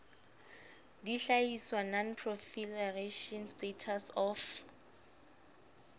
dihlahiswa non proliferation status of